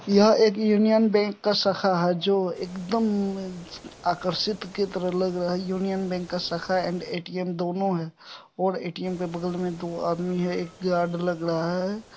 यह एक Union Bank का शाखा है जो एकदम आकर्षित के तरह लग रहा है | यूनियन बैंक का शाखा एंड ए.टी.एम दोनो है और ए.टी.एम के बगल में दो आदमी है एक गार्ड लग रहा है।